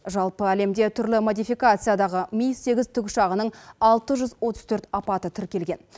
жалпы әлемде түрлі модификациядағы ми сегіз тікұшағының алты жүз отыз төрт апаты тіркелген